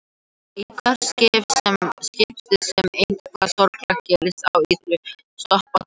Í hvert skipti sem eitthvað sorglegt gerist á Ítalíu þá stoppa allir öllu.